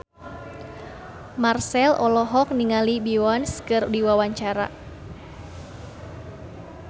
Marchell olohok ningali Beyonce keur diwawancara